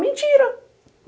Mentira!